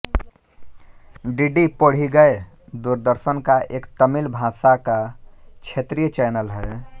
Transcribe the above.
DD Podhigai Doordarshan का एक तमिल भाषा का क्षेत्रीय चैनल है